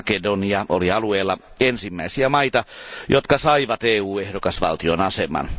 Makedonia oli alueella ensimmäisiä maita, jotka saivat EU ehdokasvaltion aseman.